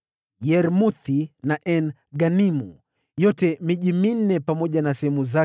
Yarmuthi na En-Ganimu, pamoja na sehemu zake za malisho, ilikuwa miji minne